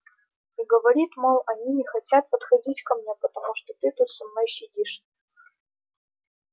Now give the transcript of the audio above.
и говорит мол они не хотят подходить ко мне потому что ты тут со мной сидишь